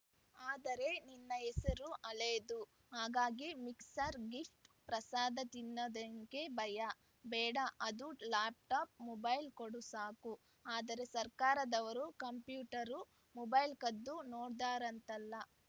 ಆದರೆ ನಿನ್ನ ಹೆಸರು ಹಳೇದು ಹಾಗಾಗಿ ಮಿಕ್ಸಡ್‌ ಗಿಫ್ಟ್ ಪ್ರಸಾದ ತಿನ್ನೋಕೆ ಭಯ ಬೇಡ ಅದು ಲ್ಯಾಪ್‌ಟಾಪ್‌ ಮೊಬೈಲ್‌ ಕೊಡು ಸಾಕು ಆದ್ರೆ ಸರ್ಕಾರದವರು ಕಂಪ್ಯೂಟರು ಮೊಬೈಲು ಕದ್ದು ನೋಡ್ತಾರಂತಲ್ಲ